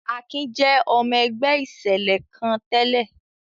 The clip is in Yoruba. Akin jẹ́ ọmọ-ẹgbẹ́ ìṣẹ̀lẹ̀ kan tẹ́lẹ̀.